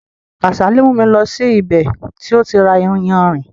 Kásálì mú mi lọ sí ibè tó ti ra ìyánrín.